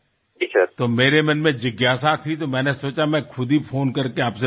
તો મારા મનમાં જિજ્ઞાસા હતી તો મેં વિચાર્યું કે હું પોતે જ ફોન કરીને તમને પૂછું